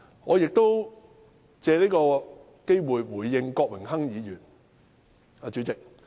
我亦借此機會回應郭榮鏗議員。